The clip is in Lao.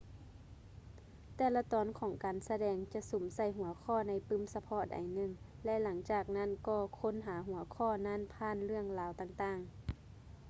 ແຕ່ລະຕອນຂອງການສະແດງຈະສຸມໃສ່ຫົວຂໍ້ໃນປື້ມສະເພາະໃດໜຶ່ງ ແລະ ຫຼັງຈາກນັ້ນກໍຄົ້ນຫາຫົວຂໍ້ນັ້ນຜ່ານເລື່ອງລາວຕ່າງໆ